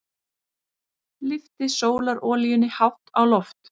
Lyfti sólarolíunni hátt á loft.